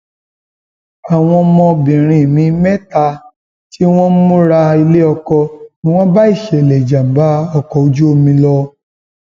àwọn ọmọbìnrin mi mẹta tí wọn ń múra iléọkọ ni wọn bá ìṣẹlẹ ìjàgbá ọkọ ojú omi lọ